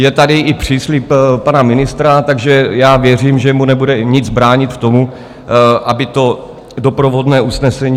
Je tady i příslib pana ministra, takže já věřím, že mu nebude nic bránit v tom, aby to doprovodné usnesení...